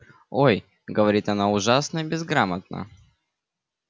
ой говорит она ужасно безграмотно